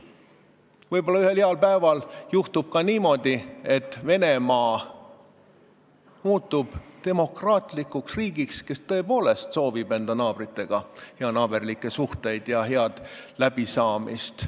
Võib-olla ühel päeval juhtub ka niimoodi, et Venemaa muutub demokraatlikuks riigiks, kes tõepoolest soovib enda naabritega heanaaberlikke suhteid ja head läbisaamist.